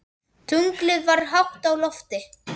Tunglið var hátt á lofti.